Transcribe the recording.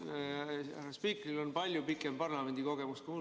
Härra spiikril on palju pikem parlamendikogemus kui mul.